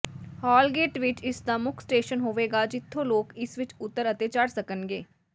ਹਾਲਗੇਟ ਵਿੱਚ ਇਸ ਦਾ ਮੁੱਖ ਸਟੇਸ਼ਨ ਹੋਵੇਗਾ ਜਿਥੋ ਲੋਕ ਇਸ ਵਿੱਚ ਉਤਰ ਅਤੇ ਚੜ ਸਕਣਗੇ